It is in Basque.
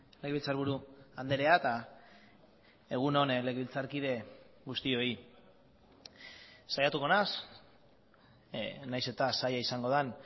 legebiltzarburu andrea eta egun on legebiltzarkide guztioi saiatuko naiz nahiz eta zaila izangoden